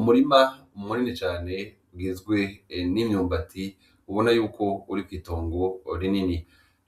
Umurima munini cane ugizwe n'imyumbati ubona yuko uri kw'itongo rinini,